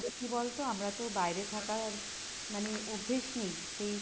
আর আমাদের কি বলতো আমরা তো বাইরে থাকায় মানে অভ্যেস নেই সেই